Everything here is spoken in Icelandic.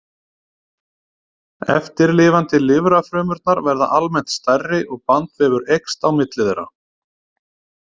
Eftirlifandi lifrarfrumurnar verða almennt stærri og bandvefur eykst á milli þeirra.